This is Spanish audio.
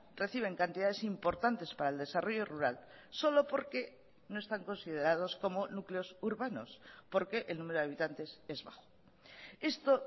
reciben cantidades importantes para el desarrollo rural solo porque no están considerados como núcleos urbanos porque el número de habitantes es bajo esto